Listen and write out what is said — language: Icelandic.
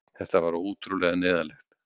Þetta var ótrúlega neyðarlegt.